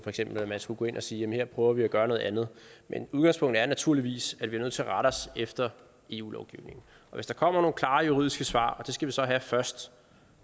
at man skulle gå ind og sige jamen her prøver vi at gøre noget andet men udgangspunktet er naturligvis at vi er nødt til at rette os efter eu lovgivningen hvis der kommer nogle klare juridiske svar og det skal vi så have først